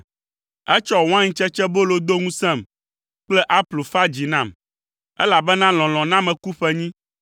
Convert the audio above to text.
Etsɔ waintsetsebolo do ŋusẽm kple aplu fa dzi nam, elabena lɔlɔ̃ na meku ƒenyi.